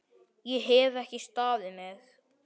Ég hef ekki staðið mig!